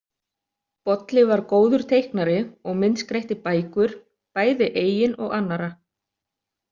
Bolli var góður teiknari og myndskreytti bækur, bæði eigin og annarra.